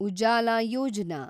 Ujala Yojana